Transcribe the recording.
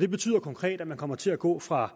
det betyder konkret at man kommer til at gå fra